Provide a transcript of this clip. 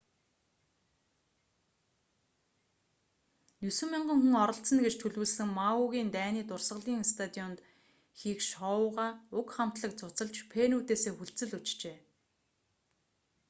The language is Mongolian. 9,000 хүн оролцоно гэж төлөвлөсөн мауигийн дайны дурсгалын стадионд хийх шоугаа уг хамтлаг цуцалж фенүүдээсээ хүлцэл өчжээ